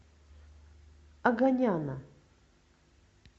оганяна